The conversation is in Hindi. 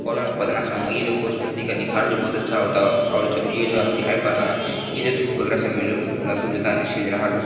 और आपको बताना चा हूँगा ये जो है क्या है है बहुत अच्छा होता है और ये जो है दिखाई पड़ता है। धूप बगैर